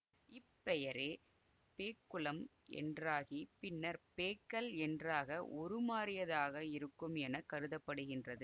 இப் பெயரே பேக்குளம் என்றாகி பின்னர் பேக்கல் என்றாக உருமாறியதாக இருக்கும் என கருத படுகின்றது